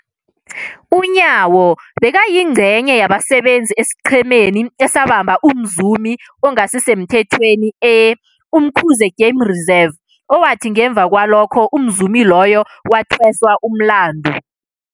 UNyawo bekayingcenye yabasebenza esiqhemeni esabamba umzumi ongasisemthethweni e-Umkhuze Game Reserve, owathi ngemva kwalokho umzumi loyo wathweswa umlandu.